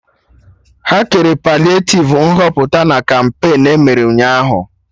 Ha kere paliativ Nhọpụta na kampain emere Ụnyaahụ